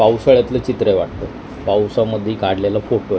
पावसाळ्यातलं चित्र आहे वाटतं पावसामध्ये काढलेला फोटो आहे.